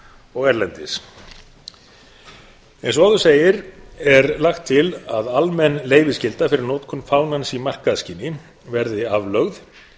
og erlendis eins og áður segir er lagt til að almenn leyfisskylda fyrir notkun fánans í markaðsskyni verði aflögð